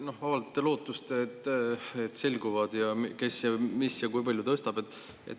Te avaldasite lootust, et selgub, kes kui palju tõstab.